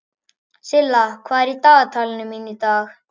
Silla, hvað er í dagatalinu mínu í dag?